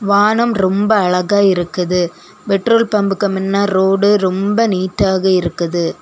வானம் ரொம்ப அழகா இருக்குது பெட்ரோல் பம்புக்கு முன்ன ரோடு ரொம்ப நீட்டாக இருக்குது.